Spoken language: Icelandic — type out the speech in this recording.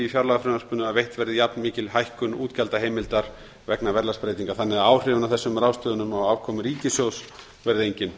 fjárlagafrumvarpinu að veitt verði jafn mikil hækkun útgjaldaheimildar vegna verðlagsbreytinga þannig að áhrifin af þessum ráðstöfunum á afkomu ríkissjóðs verði engin